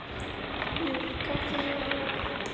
Jú, kaffitíminn er alveg að koma.